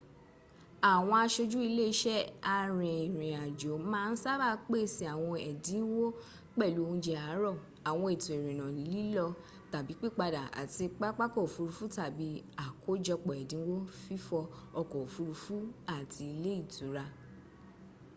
àwọn aṣojú ilé iṣẹ́ arìnàjò máa ń sábà pèsè àwọn ẹ̀dínwó pẹ̀lú oúnje àárọ̀ àwọn ètò ìrìnà lílọ/pípadà láti pápakọ̀ òfuurufú tàbí àkójọpọ̀ èdínwó fífò ọkọ̀ òfuurufú àti ilé ìtura